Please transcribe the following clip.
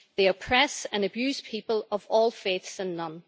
They oppress and abuse people of all faiths and none.